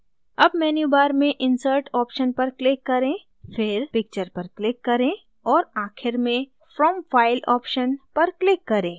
अब मेन्यूबार में insert option पर click करें फिर picture पर click करें और आखिर में from file option पर click करें